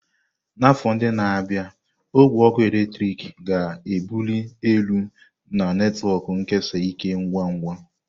N'afọ ndị na-abịa, ogwe ọkụ eletrik ga-ebuli elu na netwọk nkesa ike ngwa ngwa.